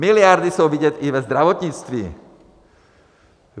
Miliardy jsou vidět i ve zdravotnictví.